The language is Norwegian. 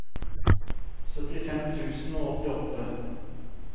syttifem tusen og åttiåtte